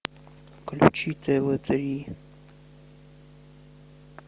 включи тв три